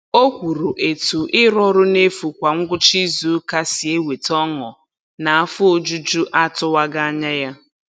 O kwuru etu ịrụ ọrụ n'efu kwa ngwụcha izuụka si eweta ọṅụ naa afọ ojuju atụwaghị anya ya.